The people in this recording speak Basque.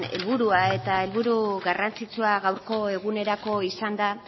helburua eta helburu garrantzitsua gaurko egunerako izan da